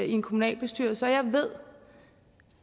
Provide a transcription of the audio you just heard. i en kommunalbestyrelse og jeg ved